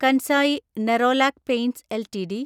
Kansai Nerolac paints LTD